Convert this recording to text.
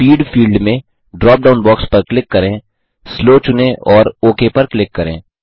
speed field में drop down box पर click करें स्लो चुनें और ओक पर क्लिक करें